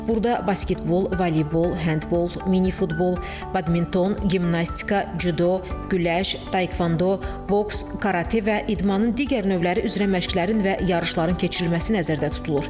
Burada basketbol, voleybol, handbol, mini futbol, badminton, gimnastika, cüdo, güləş, taekvando, boks, karate və idmanın digər növləri üzrə məşqlərin və yarışların keçirilməsi nəzərdə tutulur.